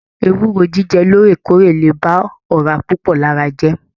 Ewúro jíjẹ lóòrèkóòrè lè ba ọra púpọ lára jẹ.